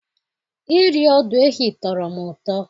Iri ọdụ ehi tọrọ m ụtọ.